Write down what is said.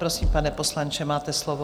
Prosím, pane poslanče, máte slovo.